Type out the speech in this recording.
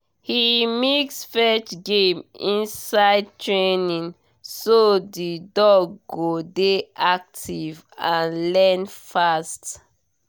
he mix fetch game inside training so the dog go dey active and learn fast